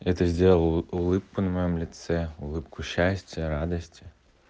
это сделало улыбку на моём лице улыбку счастья радости